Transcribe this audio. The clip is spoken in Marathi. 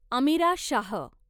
अमीरा शाह